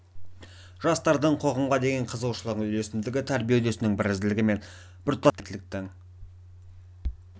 жастардың қоғамға деген қызығушылығының үйлесімділігі тәрбие үрдісінің бірізділігі мен біртұтас сабақтастығын болжайтын кәсібиліктің және әлеуметтіліктің